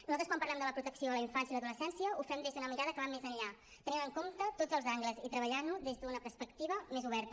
nosaltres quan parlem de la protecció a la infància i a l’adolescència ho fem des d’una mirada que va més enllà tenint en compte tots els angles i treballant ho des d’una perspectiva més oberta